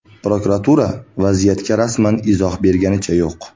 Prokuratura vaziyatga rasman izoh berganicha yo‘q.